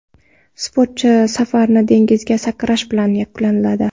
Sportchi safarini dengizga sakrash bilan yakunladi.